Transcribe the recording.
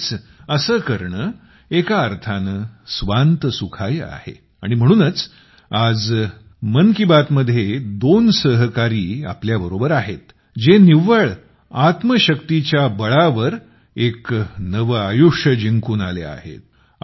म्हणजेच असे करणे एका अर्थाने स्वांत सुखाय आहे आणि म्हणूनच आज मन की बात मध्ये दोन सहकारी आज आपल्यासोबत आहेत जे निव्वळ हिमतीच्या बळावर एक नवे आयुष्य जिंकून आले आहेत